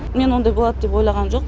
мен ондай болады деп ойлағам жоқ